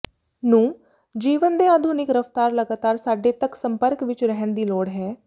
ਨੂੰ ਜੀਵਨ ਦੇ ਆਧੁਨਿਕ ਰਫਤਾਰ ਲਗਾਤਾਰ ਸਾਡੇ ਤੱਕ ਸੰਪਰਕ ਵਿੱਚ ਰਹਿਣ ਦੀ ਲੋੜ ਹੈ